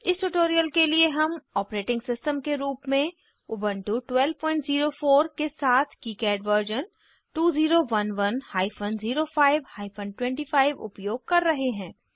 इस ट्यूटोरियल के लिए हम ऑपरेटिंग सिस्टम के रूप में उबन्टु 1204 के साथ किकाड वर्जन 2011 हाइफन 05 हाइफन 25 उपयोग कर रहे हैं